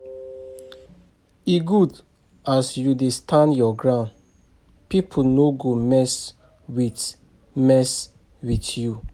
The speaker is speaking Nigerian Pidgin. E good as you dey stand your ground, pipo no go mess wit mess wit you.